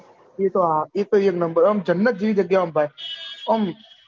એતો હા એતો એક number હા જન્નત જેવી જગ્યા આમ ભાઈ